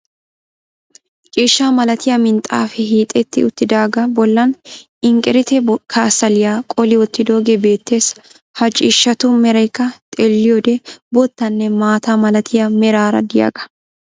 Ciishshaa malatiya minxaafaee hiixxetti uttidaga bollan inqqiriite kasaliya qolli wottiddogee beettees. Ha Ciishshatu meraykka xeeliyode boottanne maataa malatiya meraara de'iyagaa.